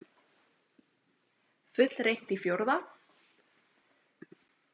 Fullreynt í fjórða?